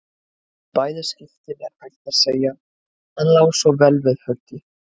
Í bæði skiptin er hægt að segja: Hann lá svo vel við höggi.